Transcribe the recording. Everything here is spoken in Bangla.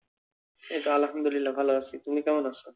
এইতো আলহামদুলিল্লাহ ভাল আছি। তুমি কেমন আছো?